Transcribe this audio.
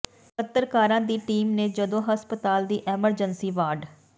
ਪੱਤਰਕਾਰਾਂ ਦੀ ਟੀਮ ਨੇ ਜਦੋਂ ਹਸਪਤਾਲ ਦੀ ਐਮਰਜੈਂਸੀ ਵਾਰਡ